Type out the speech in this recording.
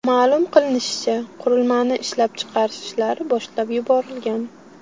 Ma’lum qilinishicha, qurilmani ishlab chiqarish ishlari boshlab yuborilgan.